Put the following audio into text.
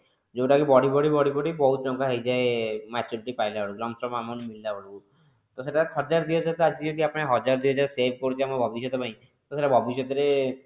ଯୋଊଟା କି ବଢି ବଢି ବଢି ବଢି ବହୁତ ଟଙ୍କା ହେଇଯାଏ maturity ପାଇଲା ବେଳକୁ long term amount ମିଳିଲା ବେଳକୁ ତ ସେଟା ହଜାର ଦି ହଜାର ଆଜି କଲି ହଜାର ଦି ହଜାର save କରୁଚେ ଆମ ଭବିଷ୍ୟତ ପାଇଁ ତ ସେଟା ଭବିଷ୍ୟତ ରେ